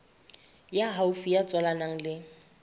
ya haufi ya tswalanang le